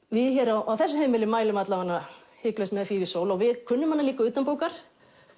við hér á þessu heimili mælum hiklaust með við kunnum hana líka utanbókar